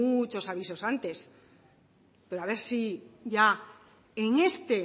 muchos avisos antes pero a ver si ya en este